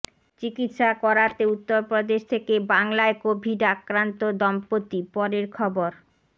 চিকিৎসা করাতে উত্তরপ্রদেশ থেকে বাংলায় কোভিড আক্রান্ত দম্পতি পরের খবর